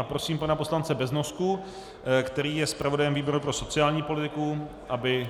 A prosím pana poslance Beznosku, který je zpravodajem výboru pro sociální politiku, aby